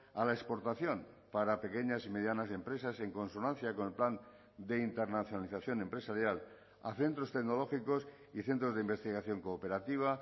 a la exportación para pequeñas y medianas empresas en consonancia con el plan de internacionalización empresarial a centros tecnológicos y centros de investigación cooperativa